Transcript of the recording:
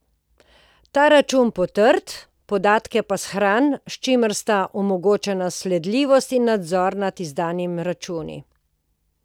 Ta račun potrdi, podatke pa shrani, s čimer sta omogočena sledljivost in nadzor nad izdanimi računi.